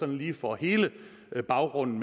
lige får hele baggrunden